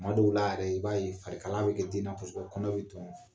Tuma dɔw la yɛrɛ i b'a ye fari kalaya bɛ kɛ den na kosɛbɛ kɔnɔ bɛ tɔn